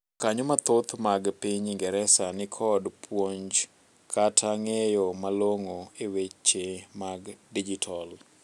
jokanyoo mathoth mag piny ingereza nikod puonj kata ng'eyo malong'o e weche mag dijital